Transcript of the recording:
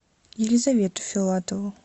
елизавету филатову